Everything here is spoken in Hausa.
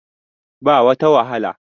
ba wata wahala